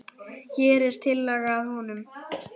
Hér er tillaga að honum.